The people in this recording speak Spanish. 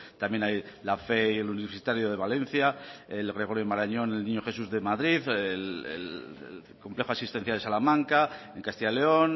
también hay la fé y el universitario de valencia el gregorio marañón el niño jesús de madrid el complejo asistencial de salamanca en castilla león